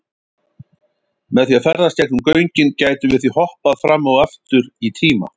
Með því að ferðast gegnum göngin gætum við því hoppað fram og aftur í tíma.